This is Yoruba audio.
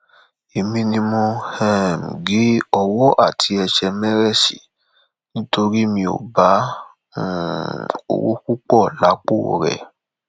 èmi ni mo um gé owó àti ẹsẹ mérésì nítorí mi ò bá um owó púpọ lápò rẹ